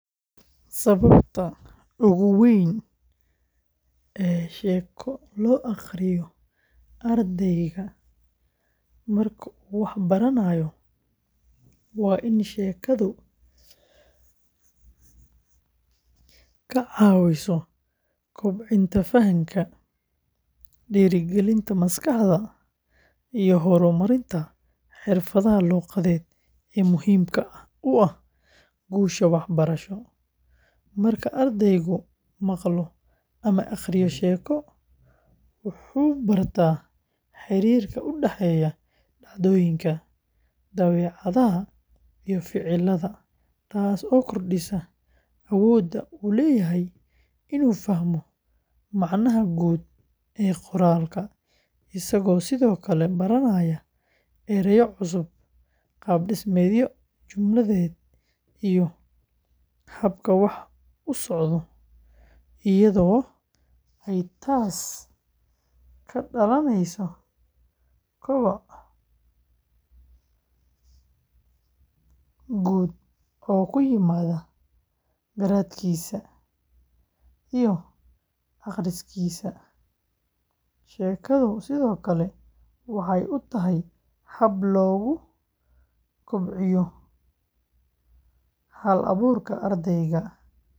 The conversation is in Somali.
Sababta ugu weyn ee sheeko loo akhriyo ardayga marka uu wax baranayo waa in sheekadu ka caawiso kobcinta fahamka, dhiirigelinta maskaxda, iyo horumarinta xirfadaha luqadeed ee muhiimka u ah guusha waxbarasho; marka ardaygu maqlo ama akhriyo sheeko, wuxuu barta xiriirka u dhexeeya dhacdooyinka, dabeecadaha, iyo ficillada, taasoo kordhisa awoodda uu u leeyahay inuu fahmo macnaha guud ee qoraalka, isagoo sidoo kale baranaya ereyo cusub, qaab dhismeedyo jumladeed, iyo habka wax u socoto, iyadoo ay taas ka dhalanayso koboc guud oo ku yimaada garaadkiisa iyo akhriskiisa; sheekadu sidoo kale waxay u tahay hab lagu kobciyo hal-abuurka ardayga.